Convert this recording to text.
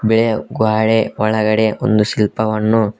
ಬಿಳಿಯ ಗ್ವಾಡೆ ಒಳಗಡೆ ಒಂದು ಶಿಲ್ಪವನ್ನು--